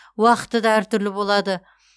уақыты да әртүрлі болады